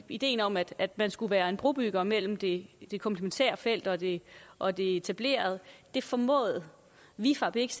ideen om at man skal være brobygger mellem det det komplementære felt og det og det etablerede det formåede vifab ikke